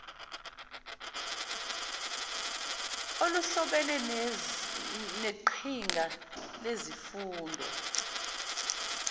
oluhlobene neqhinga lezemfundo